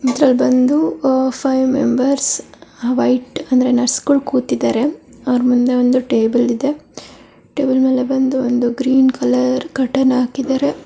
ಇದರಲ್ಲಿ ಬಂದು five members white ಅಂದರೆ ನರ್ಸ್ ಗಳು ಕೂತಿದರೆ ಅವರು ಮುಂದೆ ಒಂದು ಟೇಬಲ್ ಇದೆ. ಟೇಬಲ್ ಮೇಲೆ ಬಂದು ಒಂದು ಗ್ರೀನ್ ಕಲರ್ ಕಾರ್ಟ್ನ್ ಹಾಕಿದರೆ--